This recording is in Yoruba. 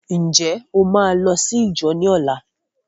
Ǹjẹ́ o máa lọ sí íjọ ní ọlá?